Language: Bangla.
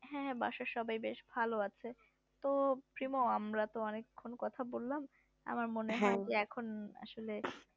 হ্যাঁ বাসার সবাই বেশ ভালোই আছে তো প্রিমো আমরা তো অনেক খান কথা বললাম আমার মনে হয় যে এখন আসলে